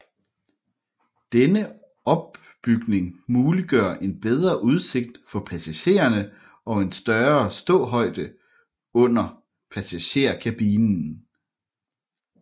Denne opbygning muliggør en bedre udsigt for passagererne og en større ståhøjde under passagerkabinen